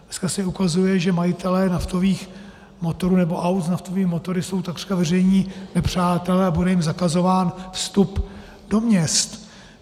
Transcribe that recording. Dneska se ukazuje, že majitelé naftových motorů, nebo aut s naftovými motory, jsou takřka veřejní nepřátelé a bude jim zakazován vstup do měst.